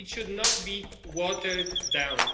It should not be watered down.